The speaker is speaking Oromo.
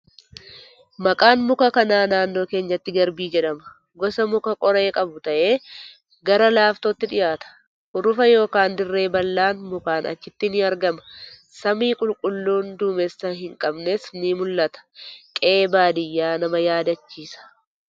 Maqaan muka kanaa naannoo keenyatti garbii jedhama. Gosa muka qoree qabuu ta'ee gara laaftootti dhiyaata. Hurufa yookan dirree bal'aan mukaan achitti ni argama. Samii qulqulluu duumessa hin qabnes ni mul'ata. Qe'ee baadiyyaa nama yaadachiisa.